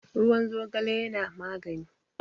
ruwan zogale yana magani